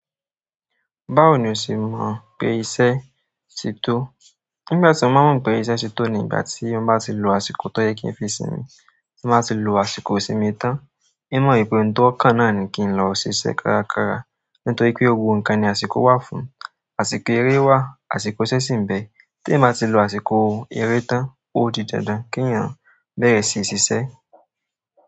Báwo ni o ṣe mọ̀ pé iṣẹ́ ti tó? Nígbàtí mo má mọ pé iṣẹ́ ti tó ni ìgbà tí mo bá ti lò àsìkò tó bá yẹ kí n fi sinmi, timba ti lò àsìkò ìsinmi tán, hin mọ pé ẹni tó kan náà ni kí n lọ ṣiṣẹ kárakára nítorí pé gbogbo nǹkan ní àsìkò wà fún, àsìkò eré wà, àsìkò iṣẹ́ sì ń bẹ́ẹ̀. Tí èeyan bá ti lò àsìkò eré tán, ó di dandan kí èèyàn bẹ̀rẹ̀ síi ṣiṣẹ́.